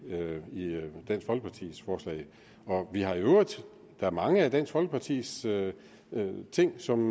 lå i dansk folkepartis forslag der er mange af dansk folkepartis ting som